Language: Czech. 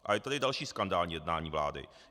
A je tady další skandální jednání vlády.